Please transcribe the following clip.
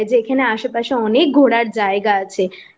এখানে আসে পাশে অনেক ঘোড়ার জায়গা আছে